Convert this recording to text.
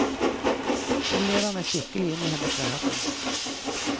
Jeg lever meg skikkelig inn i hennes verden.